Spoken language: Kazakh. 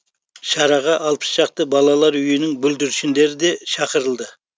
шараға алпыс шақты балалар үйінің бүлдіршіндері де шақырылды